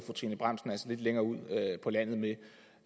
trine bramsen altså lidt længere ud på landet med